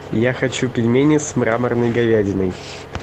я хочу пельмени с мраморной говядиной